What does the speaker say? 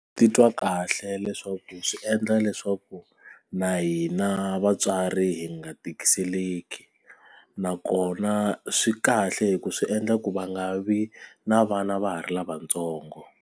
Ndzi titwa kahle leswaku swi endla leswaku na hina vatswari hi nga tikiseleka nakona swi kahle hi ku swi endla ku va nga vi na vana va ha ri lavatsongo.